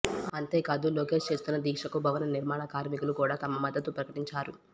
అంతేకాదు లోకేష్ చేస్తున్న దీక్షకు భవన నిర్మాణ కార్మికులు కూడా తమ మద్దతు ప్రకటించారు